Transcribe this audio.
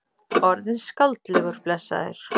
Orðinn skáldlegur, blessaður.